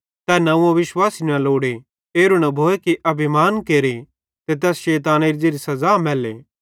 तै नंव्वो विश्वासी न लोड़े एरू न भोए अभिमान केरे ते तैस शैतानेरी ज़ेरी तैस सज़ा मैल्ले